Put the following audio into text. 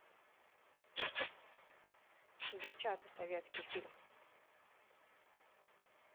девчата советский фильм